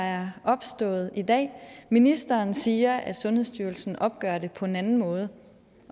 er opstået i dag ministeren siger at sundhedsstyrelsen opgør det på en anden måde